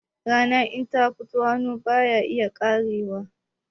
Rana in ta fito hannu baya iya karewa